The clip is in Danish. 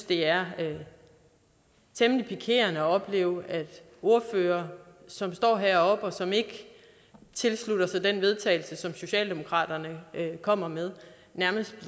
det er temmelig pikerende at opleve at ordførere som står heroppe og som ikke tilslutter sig det vedtagelse som socialdemokratiet kommer med nærmest